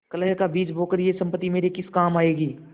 कलह का बीज बोकर यह सम्पत्ति मेरे किस काम आयेगी